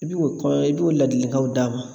I bi o kɔɔ i b'o ladilikanw d'a ma